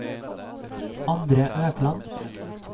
Andre Økland